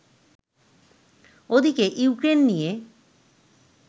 ওদিকে ইউক্রেন নিয়ে